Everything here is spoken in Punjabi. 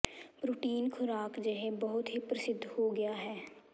ਪ੍ਰੋਟੀਨ ਖੁਰਾਕ ਜਿਹੇ ਬਹੁਤ ਹੀ ਪ੍ਰਸਿੱਧ ਹੋ ਗਿਆ ਹੈ